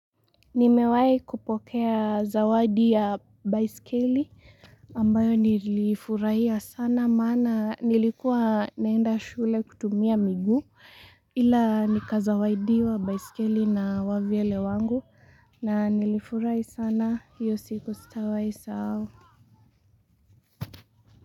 Nimewai kupokea zawadi ya baiskeli ambayo nilifurahia sana mana nilikuwa naenda shule kutumia miguu ila nikazawaidiwa baiskeli na wavyele wangu na nilifurahia sana hiyo siku sitawai sahau.